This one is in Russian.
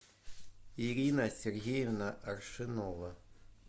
ирина сергеевна аршинова